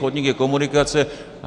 Chodník je komunikace.